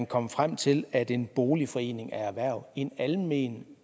komme frem til at en boligforening er erhverv en almen